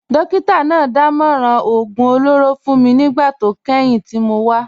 Dókítà náà dámọ̀ràn oògùn olóró fún mi nígbà tó kẹ́yìn tí mo wá